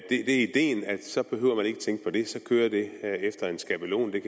det er ideen at så behøver man ikke tænke på det for så kører det efter en skabelon det